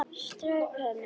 Strauk henni.